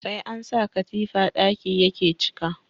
Sai an sa katifa ɗaki yake cika